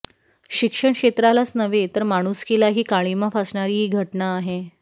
शिक्षण क्षेत्रालाच नव्हे तर माणुसकीलाही काळिमा फासणारी ही घटना आहे